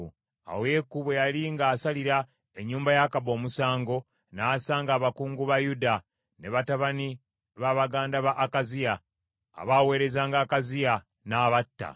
Awo Yeeku bwe yali ng’asalira ennyumba ya Akabu omusango, n’asanga abakungu ba Yuda, ne batabani ba baganda ba Akaziya, abaaweerezanga Akaziya, n’abatta.